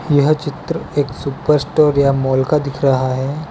यह चित्र एक सुपर स्टोर या मॉल का दिख रहा है।